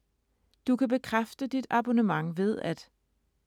Du kan bekræfte dit abonnement ved at: